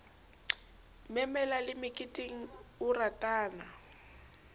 memela le meketeng o ratana